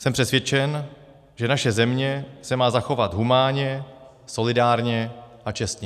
Jsem přesvědčen, že naše země se má zachovat humánně, solidárně a čestně.